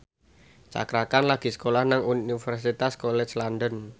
Cakra Khan lagi sekolah nang Universitas College London